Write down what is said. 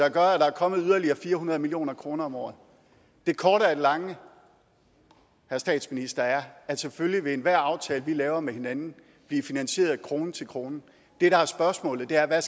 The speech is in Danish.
at der er kommet yderligere fire hundrede million kroner om året det korte af det lange herre statsminister er at selvfølgelig vil enhver aftale vi laver med hinanden blive finansieret krone til krone det der er spørgsmålet er